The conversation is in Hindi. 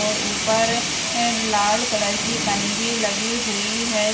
और ऊपर अ लाल कलर की पन्नी भी लगी हुई है।